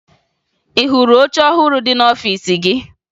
Ị hụrụ oche ọhụrụ dị n'ọfiisi gị?